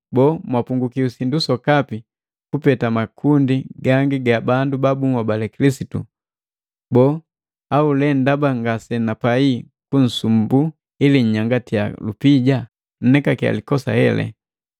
Boo, mwapungukiwa sindu sokapi, kupeta makundi gangi ga bandu ba bunhobali Kilisitu, boo, au le ndaba ngasenapai kunsumbuu ili nnyangatiya lupija? Nnekakiya likosa hele.